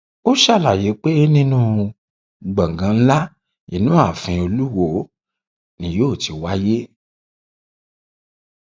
ó ṣàlàyé pé inú gbọngàn ńlá inú ààfin olùwọọ ni yóò ti wáyé